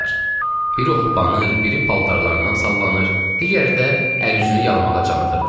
Biri hoppanır, biri paltarlarından sallanır, digəri də əl-üzünü yalamağa can atırdı.